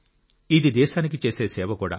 ఇది దేశానికి చేసే సేవ కూడా